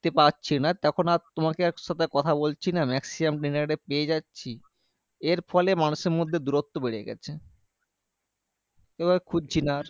পারছে না তখন আর তোমাকে আর সাথে কথা বলছিনা maximum পেয়ে যাচ্ছি এর ফলে মানুষের মধ্যে দূরত্ব বেড়ে গেছে এবার খুজঁছিনা আর